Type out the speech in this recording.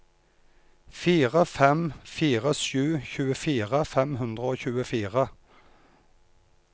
fire fem fire sju tjuefire fem hundre og tjuefire